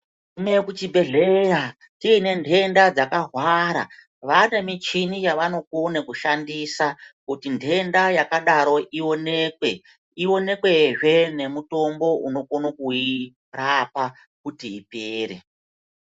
Kuende kuchibhedhlera uyinentenda dzakahwara vane michini yavanokone kushandisa kuti ndenda yakadaroko iwonekwe ionekwe zve nemitombo inokone kuyirapa kuti ipere.